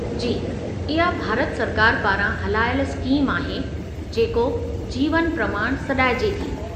जी, इहा भारत सरकार पारां हलायलु स्कीम आहे , जेको जीवन प्रमाण सॾाईजे थी।